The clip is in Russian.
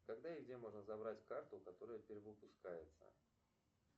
когда и где можно забрать карту которая перевыпускается